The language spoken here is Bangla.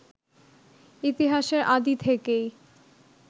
ইতিহাসের আদি থেকেই